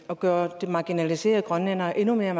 at gøre de marginaliserede grønlændere endnu mere